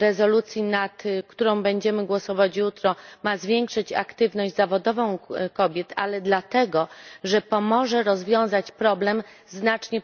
rezolucji, nad którą będziemy głosować jutro, ma zwiększyć aktywność zawodową kobiet, ale dlatego, że pomoże rozwiązać problem znacznie